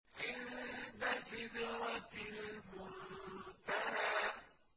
عِندَ سِدْرَةِ الْمُنتَهَىٰ